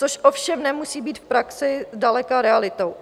Což ovšem nemusí být v praxi zdaleka realitou.